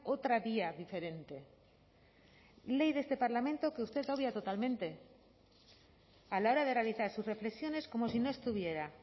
otra vía diferente ley de este parlamento que usted obvia totalmente a la hora de realizar sus reflexiones como si no estuviera